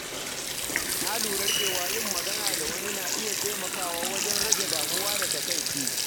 Na lura cewa yin magana da wani na iya taimakawa wajen rage damuwa da takaici.